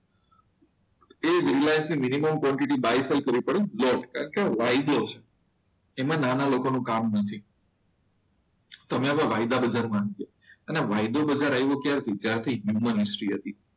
યે Reliance minimum quantity buy sell કરતી પણ લોટમાં એમાં નાના લોકોનું કામ નથી. તમે હવે વાયદા બજારમાં આવી ગયા. અને વાયદો વધારે આવે ત્યારે જ્યારથી હ્યુમન હિસ્ટ્રી હતી.